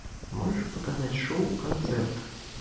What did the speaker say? можешь показать шоу концерт